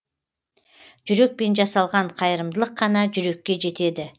жүрекпен жасалған қайырымдылық қана жүрекке жетеді